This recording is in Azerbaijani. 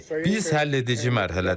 Biz həlledici mərhələdəyik.